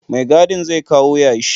Mai gadin zai kawo yashi